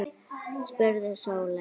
spurði Sóley